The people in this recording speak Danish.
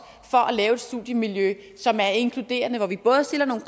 for at lave et studiemiljø som er inkluderende hvor vi både stiller nogle